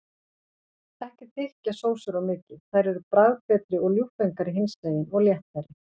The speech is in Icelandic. Ekki þykkja sósur of mikið, þær eru bragðbetri og ljúffengari hinsegin og léttari.